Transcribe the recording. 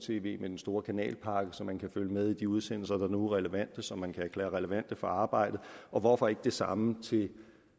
tv med den store kanalpakke så man kan følge med i de udsendelser der nu er relevante og som man kan erklære relevante for arbejdet og hvorfor ikke det samme til